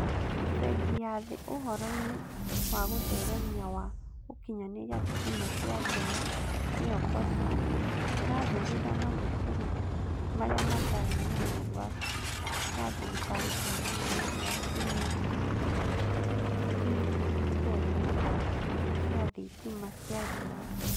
Bengi ya Thĩ Ũhoro-ĩnĩ wa Gũtheremia wa Gũkinyanĩria Thitima cia Riũa (KOSAP) ĩrathugunda mathukuru marĩa matarĩ na netiwaki ya thirikari kũheana netiwaki nini na thithitemu cia thitima cia riũa.